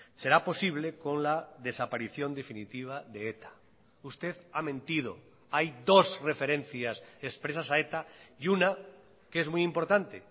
será posible con la desaparición definitiva de eta usted ha mentido hay dos referencias expresas a eta y una que es muy importante